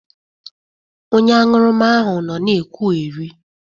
Onye aṅụrụma ahụ nọ na-ekwụgherị